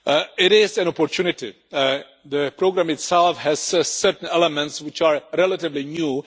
It is an opportunity the programme itself has certain elements which are relatively new.